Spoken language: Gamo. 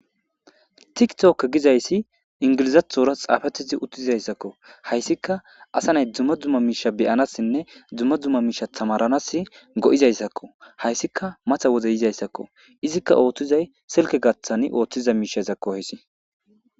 Thikthooke gizayssi inggilzaththora xaafeththizi uththizayssakoo; hayssikka asa nay dumma dumma miishshaa be7anassinne dumma dumma miishsha thamaaranassi go7izayssakoo; haysikka matha wode yizaysakoo; izikka ooththizay silkke gaththani ooththiza miishshazakko ezi.